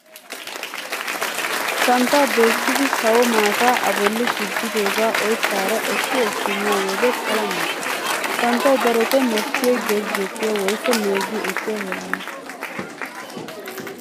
Santtaa doyssidi sawo maataa a bolli gujjidoogaa oyttaara ekki ekki miyo wode pala mal'ees. Santtay darotoo mokkiyoy gezettiyaa woykko meeggi ekkiyaa heeraana.